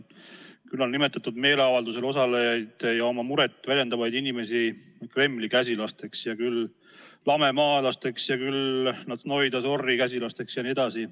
Varem nimetatud meeleavaldusel osalejaid ja oma muret väljendavaid inimesi nimetatakse küll Kremli käsilasteks, küll lamemaalasteks, küll Natšnoi Dazori käsilasteks jne.